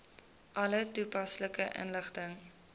alle toepaslike inligting